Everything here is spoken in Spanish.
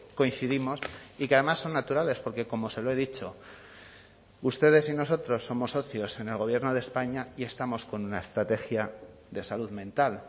coincidimos y que además son naturales porque como se lo he dicho ustedes y nosotros somos socios en el gobierno de españa y estamos con una estrategia de salud mental